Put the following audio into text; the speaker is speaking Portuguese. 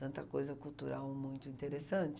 Tanta coisa cultural muito interessante.